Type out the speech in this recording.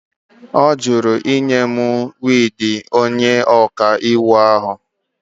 Ọ jụrụ ịnye m wiigi onye ọkaiwu ahụ.